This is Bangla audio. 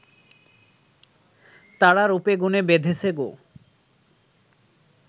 তারা রূপ-গুণে বেঁধেছে গো